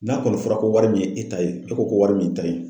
N'a kɔni fɔra ko wari min ye e ta ye, e ko ko wari min ta ye